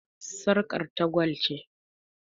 Sarƙar ta gwal ce.